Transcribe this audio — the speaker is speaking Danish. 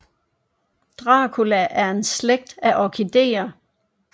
Dracula er en slægt af orkidéer